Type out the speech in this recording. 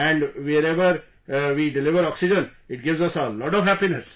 And wherever we deliver oxygen, it gives us a lot of happiness